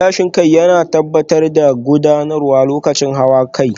Gilashin kai yana tabbatar da ganuwa lokacin hawa cikin dare